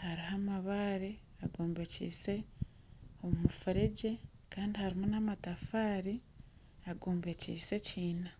hariho amabare agombekise omufuregye kandi harimu n'amatafaari agombekiise ekiina